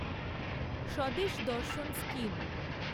Swadesh Darshan scheme